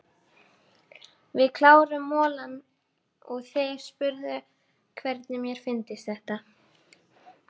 Við kláruðum molann og þeir spurðu hvernig mér fyndist þetta.